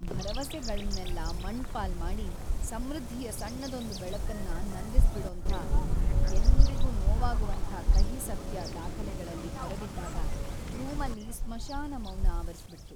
ಭರವಸೆಗಳ್ನೆಲ್ಲ ಮಣ್ಣ್‌ಪಾಲ್ ಮಾಡಿ, ಸಮೃದ್ಧಿಯ ಸಣ್ಣದೊಂದ್‌ ಬೆಳಕನ್ನು ನಂದಿಸ್ಬಿಡೋಂಥ, ಎಲ್ರಿಗೂ ನೋವಾಗುವಂಥ ಕಹಿ ಸತ್ಯ ದಾಖಲೆಗಳಲ್ಲಿ ಹೊರಬಿದ್ದಾಗ ರೂಮಲ್ಲಿ ಸ್ಮಶಾನ ಮೌನ ಆವರಿಸ್ಬಿಡ್ತು.